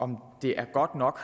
om det er godt nok